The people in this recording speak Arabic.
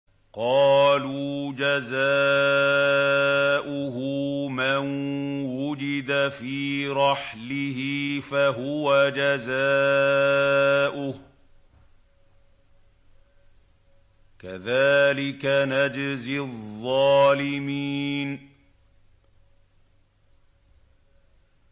قَالُوا جَزَاؤُهُ مَن وُجِدَ فِي رَحْلِهِ فَهُوَ جَزَاؤُهُ ۚ كَذَٰلِكَ نَجْزِي الظَّالِمِينَ